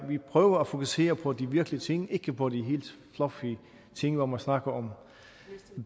vi prøver at fokusere på de virkelige ting ikke på de helt fluffy ting hvor man snakker om